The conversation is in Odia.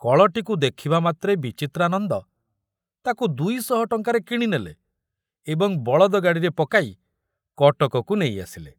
କଳଟିକୁ ଦେଖୁବା ମାତ୍ରେ ବିଚିତ୍ରାନନ୍ଦ ତାକୁ ଦୁଇଶହ ଟଙ୍କାରେ କିଣିନେଲେ ଏବଂ ବଳଦଗାଡ଼ିରେ ପକାଇ କଟକକୁ ନେଇ ଆସିଲେ।